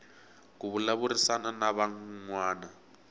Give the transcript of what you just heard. ku vulavurisana na van wana